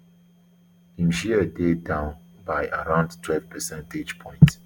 im share dey down by around twelve percentage points